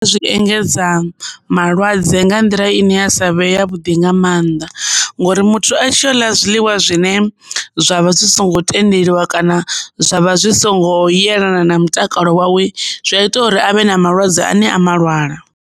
Zwi engedza malwadze nga nḓila ine ya savhe ya vhuḓi nga mannḓa, ngori muthu a tshi u ḽa zwiḽiwa zwine zwavha zwi songo tendeliwa kana zwavha zwi songo yelana na mutakalo wawe zwi a ita uri avhe na malwadze ane a malwala.